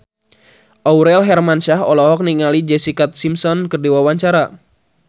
Aurel Hermansyah olohok ningali Jessica Simpson keur diwawancara